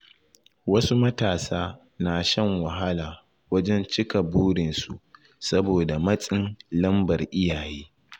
Wasu matasa na shan wahala wajen cika burinsu saboda matsin lambar iyaye.